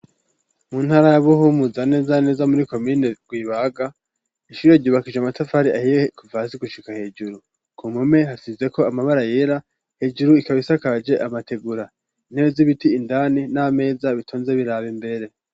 Mu ntara ya Buhumuza, neza na neza muri komine Rwibaga, ishure ryubakishije amatafari ahiye kuva hasi gushika hejuru. Ku mpome hasizeko amabara yera, hejuru ikaba isakaje amategura. Intebe z'ibiti indani n'amameza, bitonze biraba imbere.